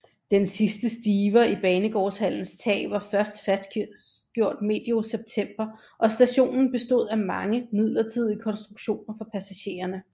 Den sidste stiver i banegårdshallens tag var først fastgjort medio september og stationen bestod af mange midlertidige konstruktioner for passagererne